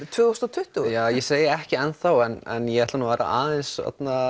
tvö þúsund og tuttugu ég segi ekki enn þá en ég ætla að vera aðeins